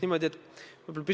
Aitäh!